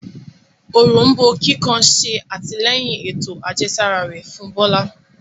Òrombó kíkan ṣe atilẹyin ètò àjẹsára rẹ fún Bola.